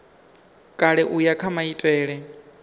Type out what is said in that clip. kale u ya kha maitele